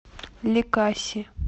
ликаси